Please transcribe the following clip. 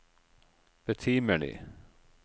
betimelig